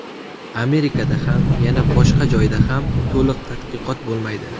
Amerikada ham, yana boshqa joyda ham to‘liq tadqiqot bo‘lmaydi.